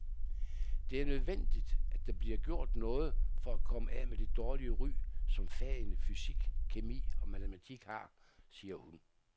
Det er nødvendigt, at der bliver gjort noget for at komme af med det dårlige ry, som fagene fysik, kemi og matematik har, siger hun.